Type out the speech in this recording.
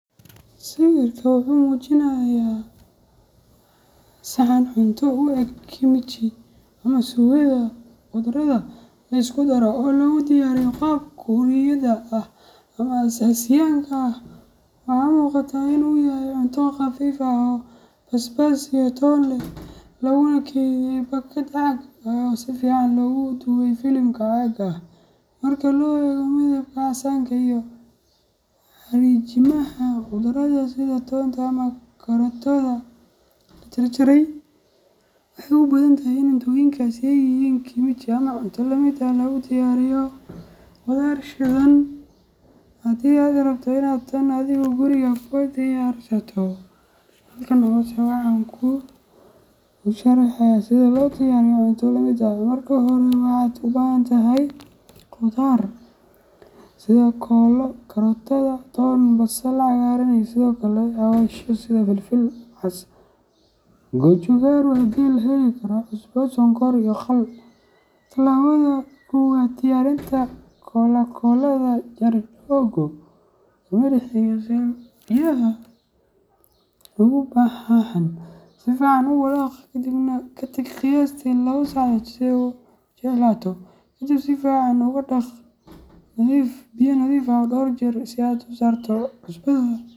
Sawirka wuxuu muujinayaa saxan cunto u eg kimchi ama suugada khudradda la isku daro ee lagu diyaariyo qaab Kuuriyada ah ama Aasiyaanka ah. Waxaa muuqata in uu yahay cunto khafiif ah oo basbaas iyo toon leh, laguna kaydiyay baakad caag ah oo si fiican loogu duubay filimka caagga ah. Marka loo eego midabka casaanka iyo xariijimaha khudradda sida toonta ama karootada la jarjaray, waxay u badan tahay in cuntooyinkaasi ay yihiin kimchi ama cunto la mid ah oo lagu diyaariyo khudaar shiidan. Haddii aad rabto inaad tan adigu guriga ku diyaarsato, halkan hoose waxaan ku sharaxayaa sida loo diyaariyo cunto la mid ah:Marka hore, waxaad u baahan tahay khudaar sida koolo , karootada, toon, basal cagaaran, iyo sidoo kale xawaashyo sida filfil cas gochugaru haddii la heli karo, cusbo, sonkor, iyo khal. Tallaabada Koowaad: Diyaarinta KooladaKoolada jar googo’ oo ku dar milix si ay biyaha uga baxaan. Si fiican u walaaq, kadibna ka tag qiyaastii laba saacadood si ay u jilcato. Kadib, si fiican ugu dhaq biyo nadiif ah dhowr jeer si aad uga saarto cusbada.